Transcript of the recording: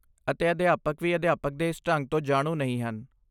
ਅਤੇ ਅਧਿਆਪਕ ਵੀ ਅਧਿਆਪਨ ਦੇ ਇਸ ਢੰਗ ਤੋਂ ਜਾਣੂ ਨਹੀਂ ਹਨ।